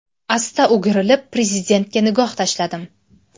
Asta o‘girilib Prezidentga nigoh tashladim.